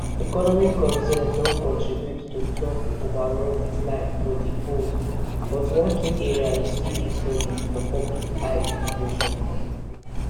economic concerns don contribute to trump overall decline for di polls but for one key area e still dey solid for public eye immigration